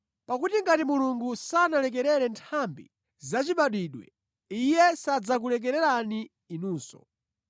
Pakuti ngati Mulungu sanalekerere nthambi zachibadwidwe, Iye sadzakulekererani inunso.